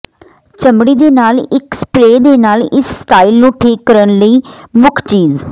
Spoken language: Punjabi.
ਚਮੜੀ ਦੇ ਨਾਲ ਇੱਕ ਸਪਰੇਅ ਦੇ ਨਾਲ ਇਸ ਸਟਾਈਲ ਨੂੰ ਠੀਕ ਕਰਨ ਲਈ ਮੁੱਖ ਚੀਜ਼